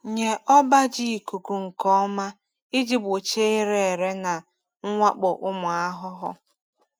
Nye ọba ji ikuku nke ọma iji gbochie ire ere na mwakpo ụmụ ahụhụ.